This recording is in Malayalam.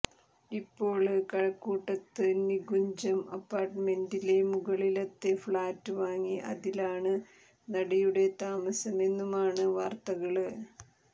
ഇപ്പോള് കഴക്കൂട്ടത്ത് നികുഞ്ചം അപ്പാര്ട്ട്മെന്റിലെ മുകളിലത്തെ ഫ്ളാറ്റ് വാങ്ങി അതിലാണ് നടിയുടെ താമസമെന്നുമാണ് വാര്ത്തകള്